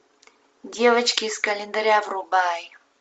девочки из календаря врубай